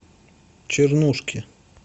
чернушки